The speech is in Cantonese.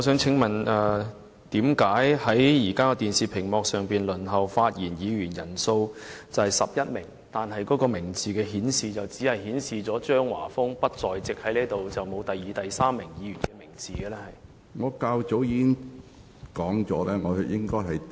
請問為何現時電視屏幕上輪候發言的議員人數是11名，但所顯示的名字卻只是指張華峰議員不在席，並沒有顯示第二、第三名輪候發言的議員的名字呢？